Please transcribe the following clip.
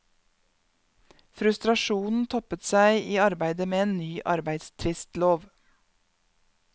Frustrasjonen toppet seg i arbeidet med en ny arbeidstvistlov.